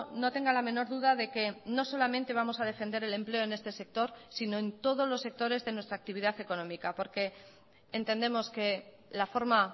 no tenga la menor duda de que no solamente vamos a defender el empleo en este sector sino en todos los sectores de nuestra actividad económica porque entendemos que la forma